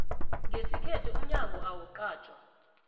ngesikhethu umnyango awuqatjwa